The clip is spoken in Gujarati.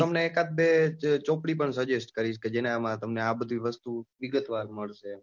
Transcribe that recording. હું તમને એકાદ બે ચોપડી પણ suggest કરીશ કે જેમાં તમને આ બધી વસ્તુ વિગતવાર મળશે.